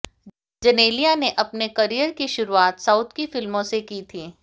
जेनेलिया ने अपने करियर की शुरुआत साउथ की फिल्मों से की थी